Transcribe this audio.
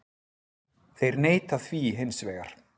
Þeir neita því hins vegar